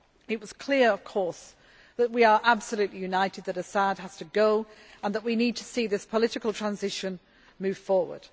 It was clear, of course, that we are absolutely united that Assad has to go and that we need to see this political transition move forward.